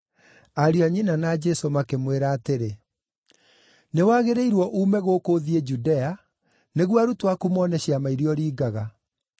ariũ a nyina na Jesũ makĩmwĩra atĩrĩ, “Nĩwagĩrĩirwo uume gũkũ ũthiĩ Judea, nĩguo arutwo aku mone ciama iria ũringaga.